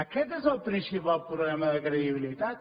aquest és el principal problema de credibilitat